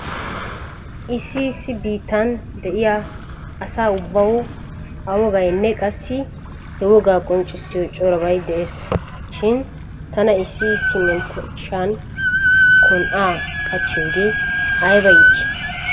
Issi issi biittan de'iya asa ubbawu a wogaynne qassi he wogaa qonccissiyo corabay de'ees. Shin tana issi issi menttershshan kon"aa qachchiyoogee ayba iitii?